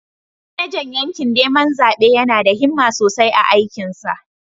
Manajan yakin neman zabe yana da himma sosai a aikinsa.